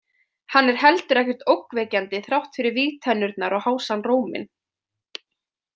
Hann er heldur ekkert ógnvekjandi þrátt fyrir vígtennurnar og hásan róminn.